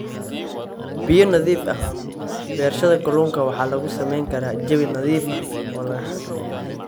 Biyo nadiif ah Beerashada kalluunka waxa lagu samayn karaa jawi nadiif ah oo la xakameeyey.